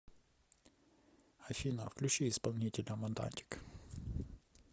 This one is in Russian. афина включи исполнителя монатик